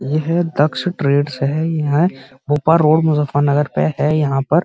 यह दक्ष ट्रेड है Bhopa road Muzaffarnagar पे है यहाँ पर --